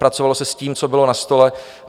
Pracovalo se s tím, co bylo na stole.